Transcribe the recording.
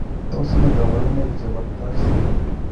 Tos ne kabarunaik chebo TAR syndrome